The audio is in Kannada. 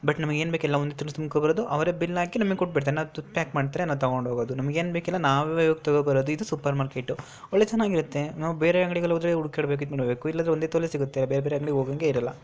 ಬಟ್ ನಮಗೆ ಏನು ಇಲ್ಲ ಒಂದು ತುಂಬಿಕೊಂಡ್ ಬರದು ಅವರೇ ಬಿಲ್ ಆಕಿ ನಮಿಗೆ ಕೋಟಿಬಿಡ್ತಾರೆ ನಾವು ಪ್ಯಾಕ್ ಮಾಡ್ತಾರೆ ನಾವು ತಗೊಂಡ್ ಹೂಗದು ನಮಗೆ ಏನು ಬೇಕೆಲ್ಲ ನಾವೇ ಹೋಗಿ ತಗೋಬರದು ಇದು ಸೂಪರ್ ಮಾರ್ಕೆಟ್ ವೊಳ್ಳೆ ಚೆನ್ನಾಗಿ ಇರುತ್ತೆ ನಾವು ಬೇರೆ ಅಂಗಡಿ ಗೆ ಹೂದ್ರೆ ಹುಡ್ಕಡ್ಬೇಕು ಇಲ್ಲ ಇಲ್ಲಿ ಒಂದೇ ತವಲೇ ಸಿಗುತ್ತೆ ಬೇರೆ ಬೇರೆ ಅಂಗಡಿ ಗೆ ಹೂಗಂಗೆ ಇರಲ್ಲ.